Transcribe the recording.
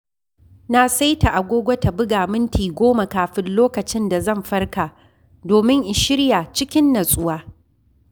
Na saita agogo ta buga minti goma kafin lokacin da zan farka domin in shirya cikin natsuwa.